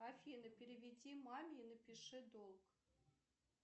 афина переведи маме и напиши долг